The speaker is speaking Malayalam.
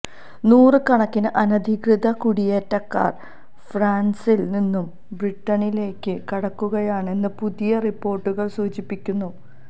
നൂറുകണക്കിന് അനധികൃത കുടിയേറ്റക്കാര് ഫ്രാന്സില് നിന്നും ബ്രിട്ടനിലേക്ക് കടക്കുകയാണെന്ന് പുതിയ റിപ്പോര്ട്ടുകള് സൂചിപ്പിക്കുന്നു